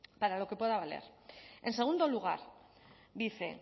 para lo que pueda valer en segundo lugar dice